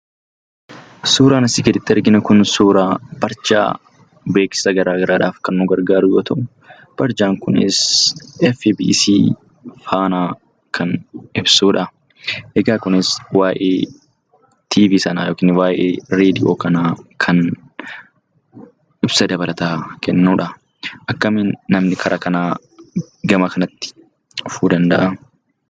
Suuraan asii gaditti arginu kun suuraa barjaa beeksisa gara garaatiif kan nu hargaaru yoo ta'u, barjaan kunis FBC Fana kan ibsudha. Kunis waa'ee TV sanaa ibsa dabalataa kan kennudha. Akkamiin kara kanaa namni gara kanatti dhufuu danda’a?